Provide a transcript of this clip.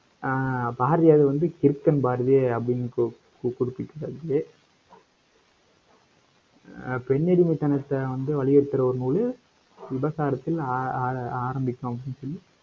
அஹ் பாரதியார் வந்து, கிறுக்கன் பாரதி, அப்படின்னு, கு~ குறிப்பிட்ருக்காப்டி ஆஹ் பெண் அடிமைத்தனத்தை வந்து வலியுறுத்துற ஒரு நூலு, விபச்சாரத்தில் ஆஹ் ஆஹ் ஆரம்பிக்கும் அப்படின்னு சொல்லி